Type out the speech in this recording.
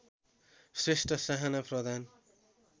Shrestha Sahana Pradhan